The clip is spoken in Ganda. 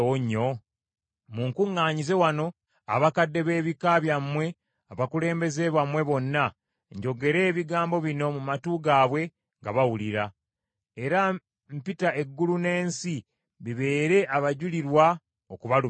Munkuŋŋaanyize wano abakadde b’ebika byammwe abakulembeze bammwe bonna, njogere ebigambo bino mu matu gaabwe nga bawulira; era mpita eggulu n’ensi bibeere abajulirwa okubalumiriza.